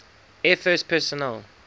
air force personnel